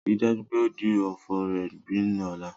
Rii daju pe o di ofo rẹ bin ọla!